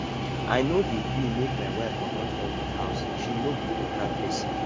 i no dey gree make my wife mama come my house she no be better pesin